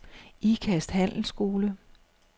Ikast Handelsskole